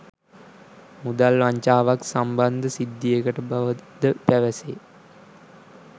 මුදල් වංචාවක් සම්බන්ධ සිද්ධියකට බවද පැවසේ.